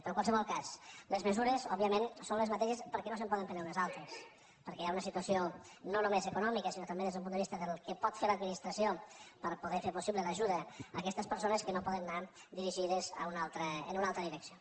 però en qualsevol cas les mesures òbviament són les mateixes perquè no se’n poden prendre unes altres perquè hi ha una situació no només econòmica sinó també des d’un punt de vista del que pot fer l’administració per a poder fer possible l’ajuda a aquestes persones que no poden anar dirigides en una altra direcció